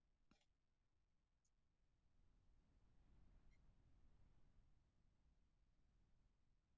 Þetta kemur okkur kannski ekki algjörlega í opna skjöldu.